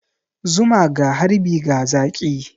Zuma ga harbi ga zaki.